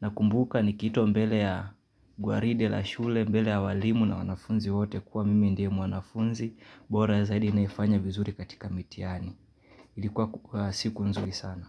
Nakumbuka nikiitwa mbele ya gwaride la shule mbele ya walimu na wanafunzi wote kuwa mimi ndiye mwanafunzi bora zaidi anayefanya vizuri katika mitihani. Ilikuwa siku nzuri sana.